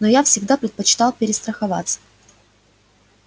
но я всегда предпочитал перестраховаться